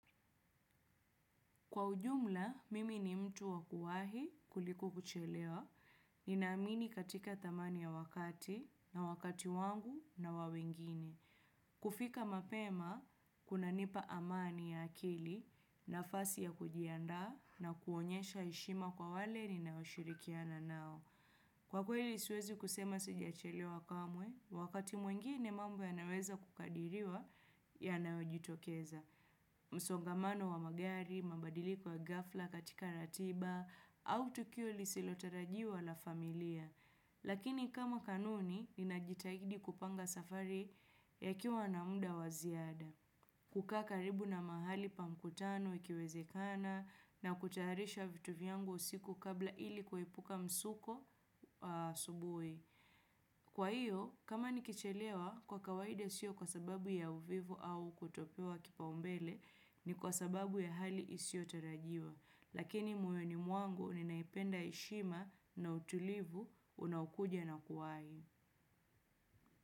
Kwa ujumla, mimi ni mtu wa kuwahi kuliko kuchelewa. Ninaamini katika thamani ya wakati, na wakati wangu, na wa wengine. Kufika mapema, kunanipa amani ya akili nafasi ya kujiandaa, na kuonyesha heshima kwa wale ni ninaoshirikiana nao. Kwa kweli siwezi kusema sijawahi chelewa kamwe, wakati mwingine mambo yanaweza kukadiriwa yanayojitokeza. Msongamano wa magari, mabadiliko ya gafla katika ratiba au tukio lisilotarajiwa la familia. Lakini kama kanuni, ninajitahidi kupanga safari ikiwa na mda wa ziada. Kukaa karibu na mahali pa mkutano ikiwezekana, na kutayarisha vitu vyangu usiku kabla ili kuhepuka msuko asubuhi. Kwa hiyo, kama nikichelewa kwa kawaida sio kwa sababu ya uvivu au kutopewa kipaombele ni kwa sababu ya hali isiyotarajiwa. Lakini moyoni mwangu, ninaipenda heshima na utulivu unaokuja na kuwahi.